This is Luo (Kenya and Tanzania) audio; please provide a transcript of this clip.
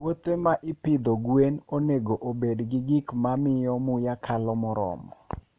Puothe ma ipidho gwen onego obed gi gik ma miyo muya kalo moromo.